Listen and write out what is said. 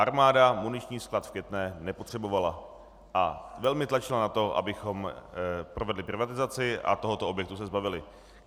Armáda muniční sklad v Květné nepotřebovala a velmi tlačila na to, abychom provedli privatizaci a tohoto objektu se zbavili.